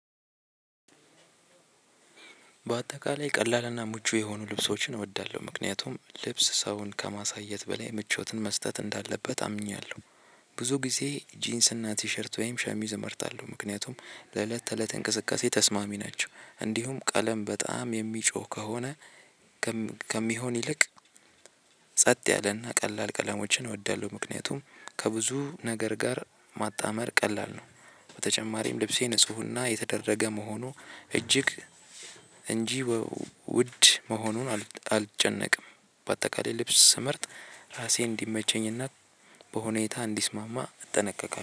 በአጠቃላይ ቀላልና ምቹ የሆኑ ልብሶችን እወዳለሁ ምክንያቱም ልብስ ሰውን ከማሳየት በላይ ምቾትን መስጠት እንዳለበት አምኛለሁ። ብዙ ጊዜ ጂንስ እና ቲሸርት ወይም ሻሚዝ እመርጣለሁ ምክንያቱም በእለት ተእለት እንቅስቃሴ ተስማሚ ናቸው እንዲሁም ቀለም በጣም የሚጮህ ከሆነ ከሚ ከሚሆን ይልቅ ጸጥ ያለና ቀላል ቀለሞችን እወዳለሁ ምክንያቱም ከብዙ ነገር ጋር ማጣመር ቀላል ነው በተጨማሪም ልብሴ ንፁህና የተደረገ መሆኑ እጅግ እንጂ ወ ውድ መሆኑን አል አልጨነቅም። በአጠቃላይ ልብስ ስመርጥ ራሴን እንዲመቸኝና በሁኔታ እንዲስማማ እጠነቀቃለሁ